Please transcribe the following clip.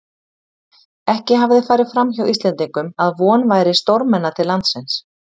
Ekki hafði farið framhjá Íslendingum, að von væri stórmenna til landsins.